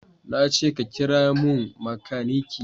Na ce ka kira mun makaniki!